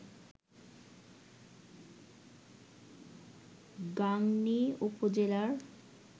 গাংনী উপজেলার